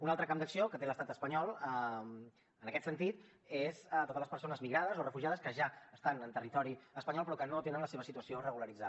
un altre camp d’acció que té l’estat espanyol en aquest sentit són totes les persones migrades o refugiades que ja estan en territori espanyol però que no tenen la seva situació regularitzada